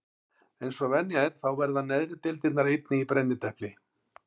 Eins og venja er þá verða neðri deildirnar einnig í brennidepli.